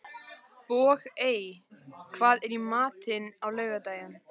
Bogey, hvað er í matinn á laugardaginn?